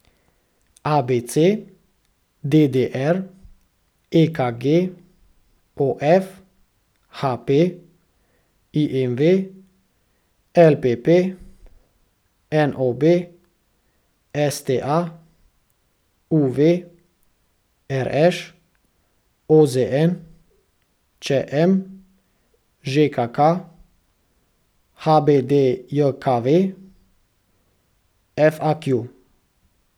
A B C; D D R; E K G; O F; H P; I M V; L P P; N O B; S T A; U V; R Š; O Z N; Č M; Ž K K; H B D J K V; F A Q.